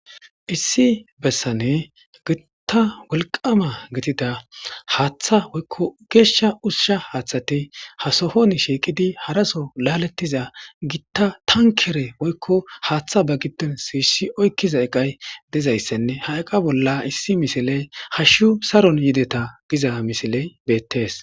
Issi bessane gitta wolqama gitida haaththa woykko geeshsha ushusha haaththati ha sohon shiiqidi haraso laalettiza gitta tankere woykko haaththa ba giddon si isshi oykkiza eqay dizayssenne ha eqa bolla issi misiley hashshu saron yideta giza misiley beettees.